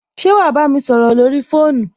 Ṣé wà á bámi sọrọ lórí fóònù?